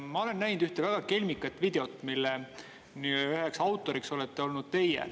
Ma olen näinud ühte väga kelmikat videot, mille üks autoritest olete olnud teie.